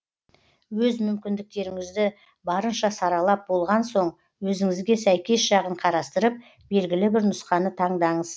өз мүмкіндіктеріңізді барынша саралап болған соң өзіңізге сәйкес жағын қарастырып белгілі бір нұсқаны таңдаңыз